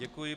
Děkuji.